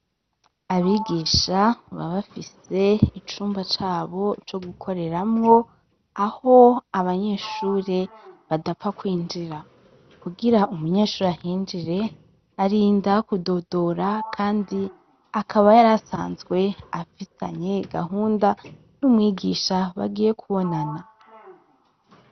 Abigisha babafise icumba cabo co gukoreramwo aho abanyeshure badapfa kwinjira kugira umunyeshuri ahinjire arinda kudodora, kandi akaba yari asanzwe afitanye gahunda n'umwigisha bagiye kubonana.